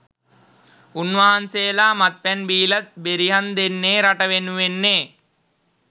උන්වහන්සේලා මත්පැන් බිලත් බෙරිහන් දෙන්නේ රට වෙනුවෙන්නේ